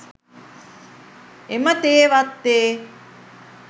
එම තේ වත්තේ